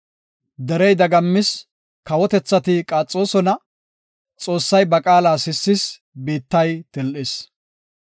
Derey dagammis; kawotethati qaaxoosona; Xoossay ba qaala sissis; biittay til7is.